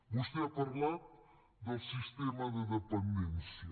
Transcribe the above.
vostè ha parlat del sistema de dependència